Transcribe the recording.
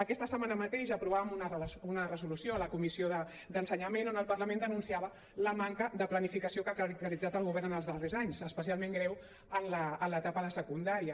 aquesta setmana mateix aprovàvem una resolució a la comissió d’ensenyament en què el parlament denunciava la manca de planificació que ha caracteritzat el govern en els darrers anys especialment greu en l’etapa de secundària